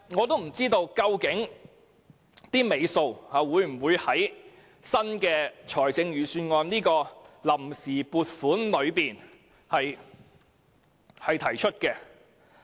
但是，究竟工程"尾數"會否納入新年度預算案中的臨時撥款，實在無從得知。